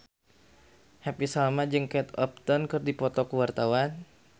Happy Salma jeung Kate Upton keur dipoto ku wartawan